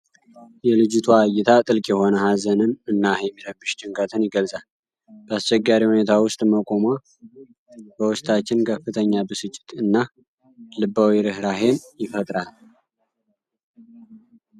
የልጅቷ እይታ ጥልቅ የሆነ ሀዘንን እና የሚረብሽ ጭንቀትን ይገልጻል። በአስቸጋሪ ሁኔታ ውስጥ መቆሟ በውስጣችን ከፍተኛ ብስጭት እና ልባዊ ርኅራኄን ይፈጥራል።